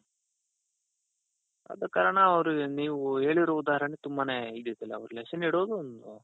ಆದ ಕಾರಣ ಅವರ್ಗೆ ನೀವು ಹೇಳಿರೋ ಉದಾಹರಣೆ ತುಂಬಾನೇ ಇದು ಇದೆ ಅವರು lesson ಇಡೋದು ಒಂದು,